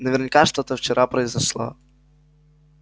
наверняка что-то вчера произошло